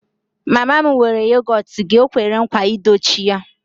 Mama m weere yogọt gị, o kwere nkwa I dochie ya